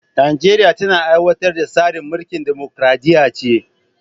Najeriya tana aiwatar da tsarin mulkin dimokradiyya ce